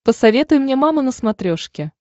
посоветуй мне мама на смотрешке